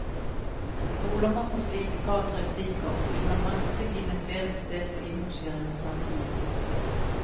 Stoler man på slike karakteristikker, vil man vanskelig finne et bedre sted for innlosjering av statsministeren.